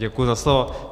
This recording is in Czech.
Děkuji za slovo.